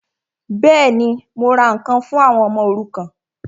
Bẹ́ẹ̀ni, mo ra ǹkan fún àwọn ọmọ òrukàn